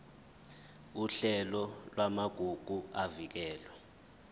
uhlelo lwamagugu avikelwe